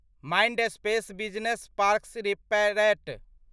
Mindspace business parks rate